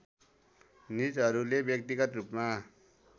निजहरूले व्यक्तिगत रूपमा